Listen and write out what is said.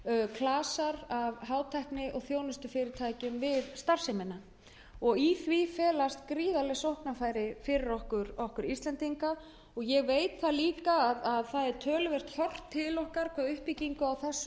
klasar af hátækni og þjónustufyrirtækjum við starfsemina í því felast gríðarleg sóknarfæri fyrir okkur íslendinga og ég veit líka að töluvert er horft til okkar hvað uppbyggingu á þessu sviði